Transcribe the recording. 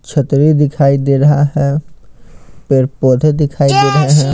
छतरी दिखाई दे रहा है पेड़ पौधे दिखाई दे रहे --